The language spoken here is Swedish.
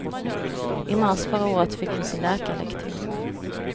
I mars förra året fick hon sin läkarlegitimation.